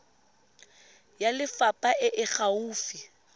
ya lefapha e e gaufi